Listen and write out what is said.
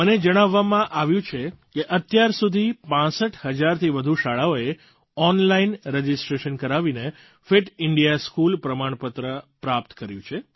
મને જણાવવામાં આવ્યું છે કે અત્યાર સુધી 65000થી વધુ શાળાઓએ ઑનલાઇન રજિસ્ટ્રેશન કરાવીને ફિટ ઇન્ડિયા સ્કૂલ પ્રમાણપત્ર પ્રાપ્ત કર્યું છે